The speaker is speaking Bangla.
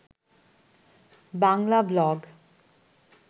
বাংলা ব্লগ